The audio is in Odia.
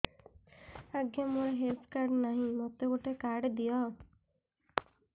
ଆଜ୍ଞା ମୋର ହେଲ୍ଥ କାର୍ଡ ନାହିଁ ମୋତେ ଗୋଟେ କାର୍ଡ ଦିଅ